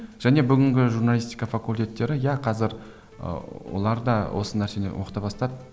және бүгінгі журналистика факультеттері иә қазір ыыы олар да осы нәрсені оқыта бастады